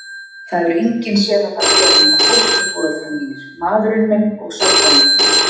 Það hefur enginn séð þetta bréf nema fósturforeldrar mínir, maðurinn minn og sálfræðingurinn minn.